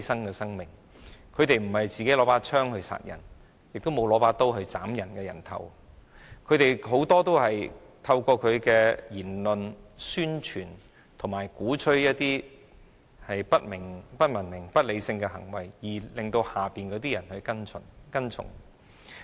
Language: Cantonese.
這些管治者不是拿着槍殺人，亦沒有拿着刀斬別人的人頭，他們很多時都是透過其言論，宣傳及鼓吹不文明、不理性的行為，而令下面的人跟從。